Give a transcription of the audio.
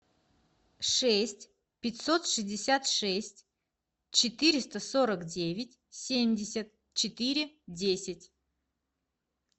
шесть пятьсот шестьдесят шесть четыреста сорок девять семьдесят четыре десять